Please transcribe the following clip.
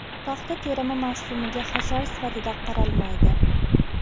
Paxta terimi mavsumiga hashar sifatida qaralmaydi.